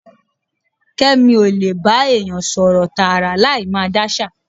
Kẹ́mi ó lè bá èèyàn sọ̀rọ̀ tààrà láì máa dáṣà.